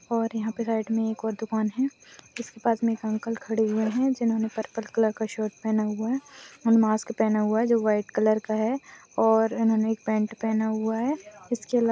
और यहाँ पे राइट मे एक और दुकान है इसके पास मे एक अंकल खड़े हुए है जिन्होंने पर्पल कलर का शर्ट पहना हुआ है और मास्क पहना हुआ है जो व्हाइट कलर का है और उन्होंने एक पैन्ट पहना हुआ है उसके --